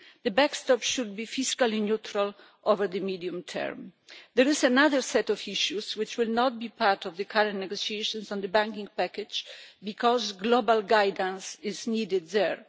The backstop should be fiscally neutral over the medium term. There is another set of issues which will not be part of the current negotiations on the banking package because global guidance is needed there.